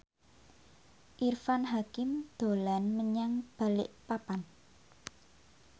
Irfan Hakim dolan menyang Balikpapan